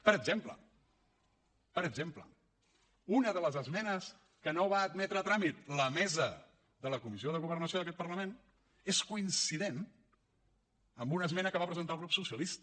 per exemple per exemple una de les esmenes que no va admetre a tràmit la mesa de la comissió de governació d’aquest parlament és coincident amb una esmena que va presentar el grup socialista